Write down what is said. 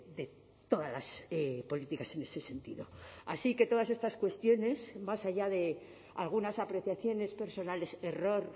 de todas las políticas en ese sentido así que todas estas cuestiones más allá de algunas apreciaciones personales error